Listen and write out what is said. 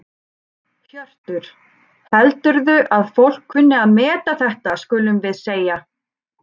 Hjörtur: Heldurðu að fólk kunni að meta þetta skulum við segja?